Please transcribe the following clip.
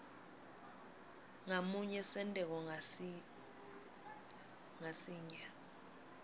ngamunye senteko ngasinye